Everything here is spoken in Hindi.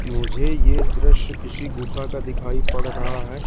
मुझे ये दृश्य किसी गुफा का दिखाई पड़ रहा है।